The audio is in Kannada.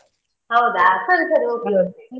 ಹೌದಾ ಸರಿ ಸರಿ okay okay .